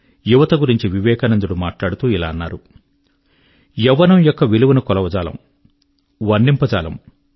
యువత గురించి మాట్లాడుతూ వారు అన్నారు యవ్వనము యొక్క విలువను కొలువజాలము వర్ణింపజాలము